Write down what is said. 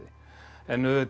en auðvitað